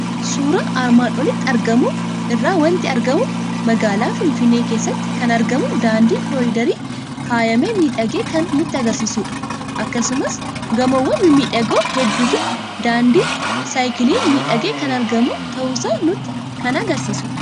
Suuraa armaan olitti argamu irraa waanti argamu; magaala Finfinnee keessatti kan argamu daandii kolidariin faayamee miidhagee kan nutti agarsiisudha. Akkasumas gamoowwan mimmiidhagoo hedduufi daandii saayikiliin miidhagee kan argamu ta'uusaa nutti kan agarsiisudha.